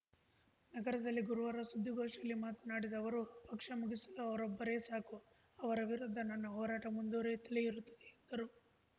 ನಗರದಲ್ಲಿ ಗುರುವಾರ ಸುದ್ದಿಗೋಷ್ಠಿಯಲ್ಲಿ ಮಾತನಾಡಿದ ಅವರು ಪಕ್ಷ ಮುಗಿಸಲು ಅವರೊಬ್ಬರೇ ಸಾಕು ಅವರ ವಿರುದ್ಧ ನನ್ನ ಹೋರಾಟ ಮುಂದುವರಿಯುತ್ತಲೇ ಇರುತ್ತದೆ ಎಂದರು